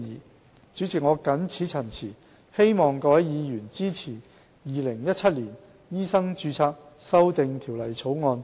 代理主席，我謹此陳辭，希望各位議員支持《2017年條例草案》。